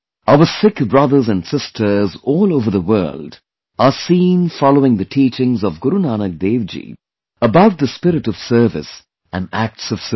Our Sikh brothers and sisters all over the world are seen following the teachings of Guru Nanak DevJi about the spirit of service and acts of service